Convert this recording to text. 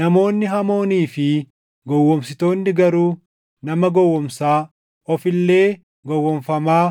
namoonni hamoonii fi gowwoomsitoonni garuu nama gowwoomsaa, of illee gowwoomfamaa